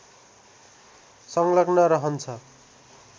संलग्न रहन्छ